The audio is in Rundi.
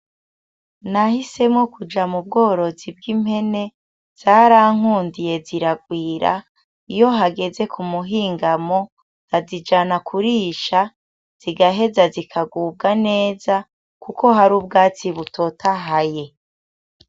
Nahisemo kuja mu bworozi bwi mpene, zarankundiye ziragwira, iyo hageze kumuhingamo nkazijana kurisha zigaheza zikaguga neza kuko hari ubwatsi butotahaye.